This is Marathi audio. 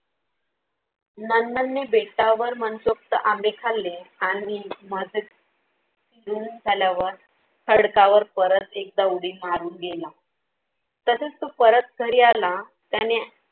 नंदनने बेटावर मनसोक्त आंबे खाल्ले. आणि खडकावर परत एकदा उडी मारून गेला. तसेच तो परत घरी आला त्याने